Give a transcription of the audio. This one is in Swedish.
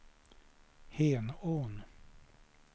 Henån